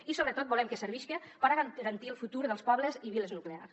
i sobretot volem que servisca per a garantir el futur dels pobles i viles nuclears